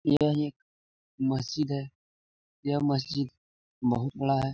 यह एक मस्जिद है। यह मस्जिद बहुत बड़ा है।